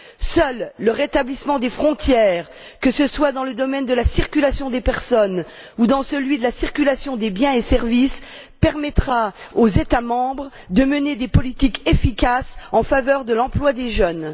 Seul le rétablissement des frontières, que ce soit dans le domaine de la circulation des personnes ou dans celui de la circulation des biens et services, permettra aux États membres de mener des politiques efficaces en faveur de l'emploi des jeunes.